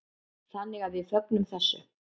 Þannig að við fögnum þessu.